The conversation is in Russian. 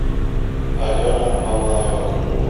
алена мамаева